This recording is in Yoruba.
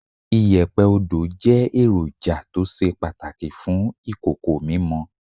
Iyẹ̀pẹ̀ Odo jẹ́ èròjà tó ṣe pàtàkì fún ìkòkò mímọ.